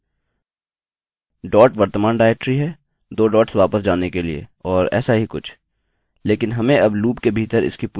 dot वर्त्तमान directory है दो डॉट्स वापस जाने के लिए और ऐसा ही कुछ